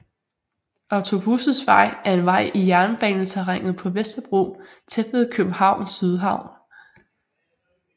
Otto Busses Vej er en vej i jernbaneterrænet på Vesterbro tæt ved Københavns Sydhavn